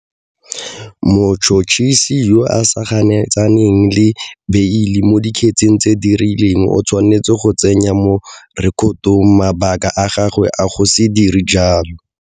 Motšhotšhisi yo a sa ganetsaneng le beile mo dikgetseng tse di rileng o tshwanetse go tsenya mo rekotong mabaka a gagwe a go se dire jalo.